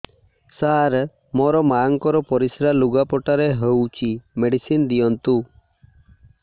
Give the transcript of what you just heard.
ସାର ମୋର ମାଆଙ୍କର ପରିସ୍ରା ଲୁଗାପଟା ରେ ହଉଚି ମେଡିସିନ ଦିଅନ୍ତୁ